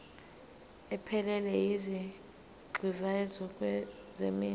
ephelele yezigxivizo zeminwe